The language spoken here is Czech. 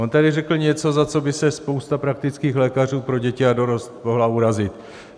On tady řekl něco, za co by se spousta praktických lékařů pro děti a dorost mohla urazit.